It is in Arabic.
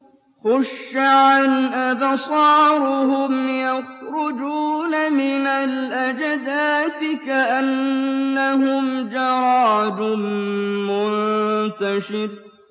خُشَّعًا أَبْصَارُهُمْ يَخْرُجُونَ مِنَ الْأَجْدَاثِ كَأَنَّهُمْ جَرَادٌ مُّنتَشِرٌ